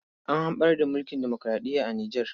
An hamɓarar da mulkin demoraɗiya a Nijar.